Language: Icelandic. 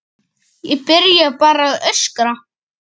Ég byrjaði bara að öskra.